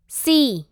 C